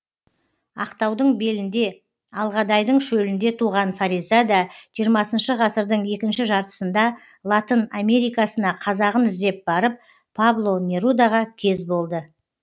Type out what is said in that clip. ақтаудың белінде алғадайдың шөлінде туған фариза да жиырмасыншы ғасырдың екінші жартысында латын америкасына қазағын іздеп барып пабло нерудаға кез болды